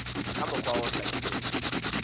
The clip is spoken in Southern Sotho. ka mokgwa o hlakileng ho